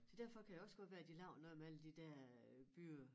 Så derfor kan det også godt være de laver noget med alle de der øh bygge